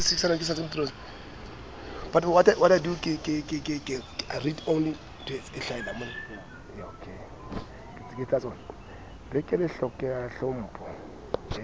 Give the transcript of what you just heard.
be ke le hlokela tlhompho